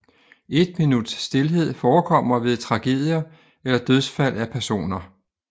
Et minuts stilhed forekommer ved tragedier eller dødsfald af personer